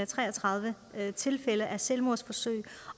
tre og tredive tilfælde af selvmordsforsøg